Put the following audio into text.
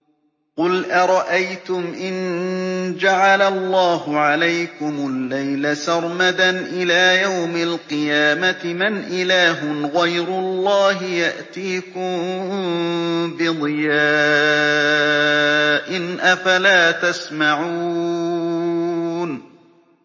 قُلْ أَرَأَيْتُمْ إِن جَعَلَ اللَّهُ عَلَيْكُمُ اللَّيْلَ سَرْمَدًا إِلَىٰ يَوْمِ الْقِيَامَةِ مَنْ إِلَٰهٌ غَيْرُ اللَّهِ يَأْتِيكُم بِضِيَاءٍ ۖ أَفَلَا تَسْمَعُونَ